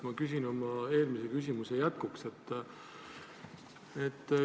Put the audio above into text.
Ma küsin oma eelmise küsimuse jätkuks sellist asja.